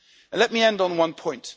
Let me end on one point.